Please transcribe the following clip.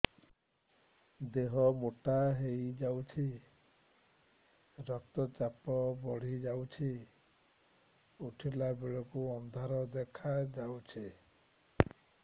ଦେହ ମୋଟା ହେଇଯାଉଛି ରକ୍ତ ଚାପ ବଢ଼ି ଯାଉଛି ଉଠିଲା ବେଳକୁ ଅନ୍ଧାର ଦେଖା ଯାଉଛି